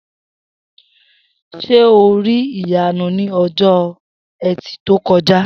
S̩e o rí Ìyanu ní o̩jó̩ E̩tì tó ko̩já?